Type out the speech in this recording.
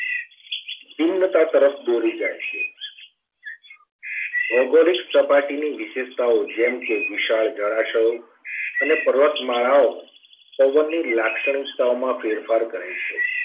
ભિન્નતા તરફ દોરી જાય છે. ભૌગોલિક સપાટીની વિશેષતાઓ જેમ કે વિશાળ જળાશયો અને પર્વતમાળાઓ પવનને લાક્ષણિકતાઓમાં ફેરફાર કરે છે.